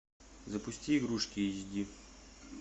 запусти игрушки эйчди